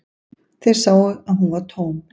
Þeir sáu að hún var tóm.